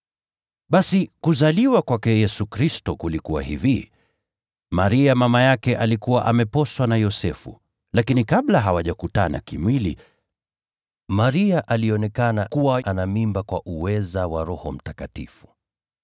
Basi Kuzaliwa kwake Yesu Kristo kulikuwa hivi: Maria mama yake alikuwa ameposwa na Yosefu, lakini kabla hawajakutana kimwili, Maria alionekana kuwa na mimba kwa uweza wa Roho Mtakatifu.